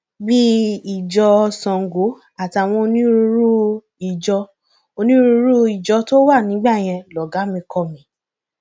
bíi ìjọ sango àtàwọn onírúurú ìjọ onírúurú ìjọ tó wà nígbà yẹn lọgàá mi kọ mi